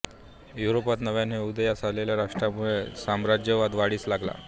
युरोपात नव्याने उदयास आलेल्या राष्ट्रांमुळे साम्राज्यवाद वाढीस लागला